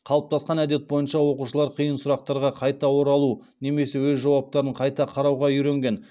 қалыптасқан әдет бойынша оқушылар қиын сұрақтарға қайта оралуға немесе өз жауаптарын қайта қарауға үйренген